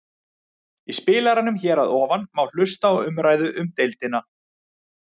Í spilaranum hér að ofan má hlusta á umræðu um deildina.